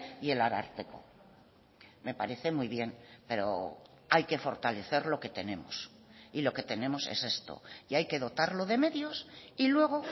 y el ararteko me parece muy bien pero hay que fortalecer lo que tenemos y lo que tenemos es esto y hay que dotarlo de medios y luego